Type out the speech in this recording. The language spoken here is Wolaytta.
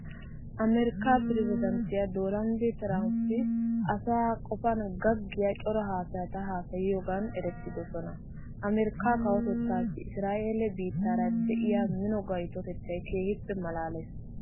Amerkkaa pirezddanttiya doonald tiramppi asaa qofaa gaggiya cora haasayata haasayiyogan erettoosona. Amerkkaa kawotettaassi isiraa'eele biittaara de'iya mino gaytotettay keehippe maalaalees.